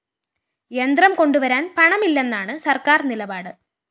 യന്ത്രം കൊണ്ടുവരാന്‍ പണമില്ലെന്നാണ് സര്‍ക്കാര്‍ നിലപാട്